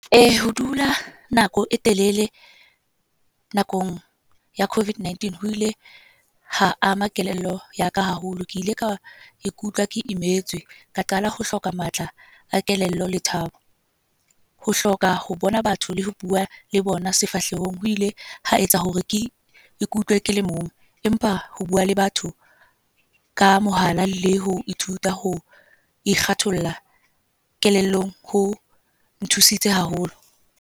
Ho dula nako e telele nakong ya COVID-19, ho ile ha ama kelello yaka haholo. Ke ile ka ikutlwa ke Imetswe, ka qala ho hloka matla a kelello le thabo. Ho hloka ho bona batho le ho bua le bona sefahlehong, ho ile ha etsa hore ke ikutlw kele mong. Empa ho bua le batho ka mohala, le ho ithuta ikgatholla kelellong, ho nthusitse haholo.